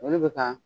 Olu bɛ ka